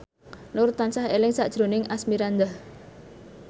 Nur tansah eling sakjroning Asmirandah